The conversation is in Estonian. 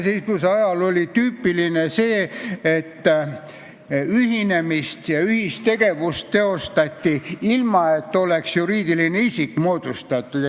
Siis oli tüüpiline see, et ühinemist ja ühistegevust teostati ilma, et oleks juriidiline isik moodustatud.